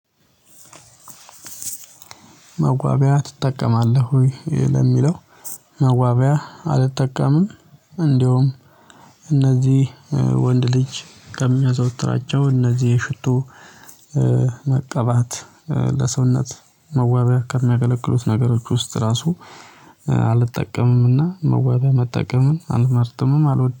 መዋቢያ ትጠቀማለህ ወይ? ለሚለው መዋቢያ አልጠቀምም እንደውም እነዚህ ወንድ ልጅ ከሚያዘወትራቸው እነዚህ የሽቶ መቀባት ለሰውነት መዋበያ ከሚያገለግሉት ነገሮች ውስጥ ራሱ አልጠቀምም። እና መዋቢያ መጠቀምን አልመርጠምም አልወድ